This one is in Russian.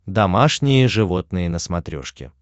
домашние животные на смотрешке